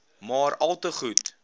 maar alte goed